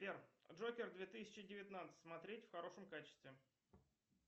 сбер джокер две тысячи девятнадцать смотреть в хорошем качестве